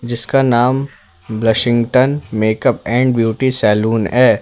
जिसका नाम Blushington makeup and beauty salon है।